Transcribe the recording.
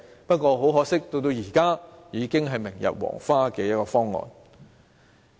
不過，很可惜，現時已是明日黃花的方案。